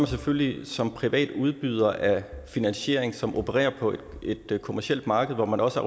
selvfølgelig som privat udbyder af finansiering som opererer på et kommercielt marked hvor man også